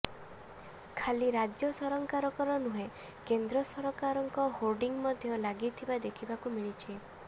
ଖାଲି ରାଜ୍ୟ ସରକାରଙ୍କର ନୁହେଁ କେନ୍ଦ୍ର ସରକାରଙ୍କ ହୋର୍ଡିଂ ମଧ୍ୟ ଲାଗିଥିବା ଦେଖିବାକୁ ମିଳିଛି